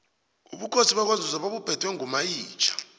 ubukhosi bakwanzunza babuphetwe ngomayitjha